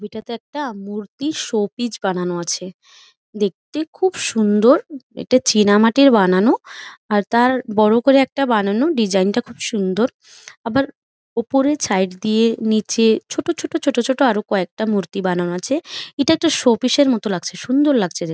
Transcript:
একটা তে একটা মূর্তির শোপিজ বানানো আছে দেখতে খুব সুন্দর এটা চিনামাটির বানানো আর তার বড় করে একটা বানানো ডিজাইন টা খুব সুন্দর আবার উপরে ছাইদ দিয়ে নিচে ছোট ছোট ছোট ছোট আরো কয়েকটা মূর্তি বানানো আছে এটা একটা শোপিস -এর মতো লাগছে সুন্দর লাগছে দেখ--